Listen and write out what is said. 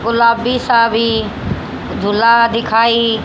गुलाबी सा भी दूल्हा दिखाई--